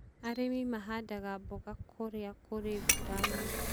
Arĩmi mahandaga mboga kũrĩa kũrĩ mbura nyingĩ.